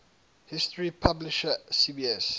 history publisher cbs